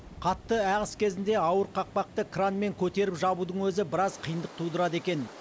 қатты ағыс кезінде ауыр қақпақты кранмен көтеріп жабудың өзі біраз қиындық тудырады екен